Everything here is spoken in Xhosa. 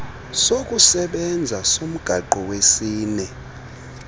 sokusebenza somgaqo wesini